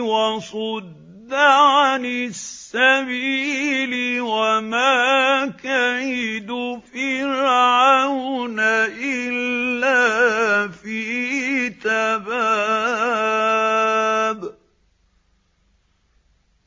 وَصُدَّ عَنِ السَّبِيلِ ۚ وَمَا كَيْدُ فِرْعَوْنَ إِلَّا فِي تَبَابٍ